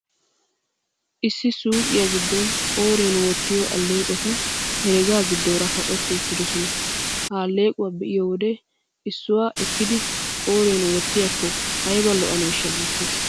Issi suuqiyaa giddon qooriyan wottiyoo alleeqoti herega giddoora kaqetti uttidoosona. Ha alleequwa be'iyoo wode issuwaa ekkidi qooriyan wottiyaakko ayba lo'aneeshsha? Giissees.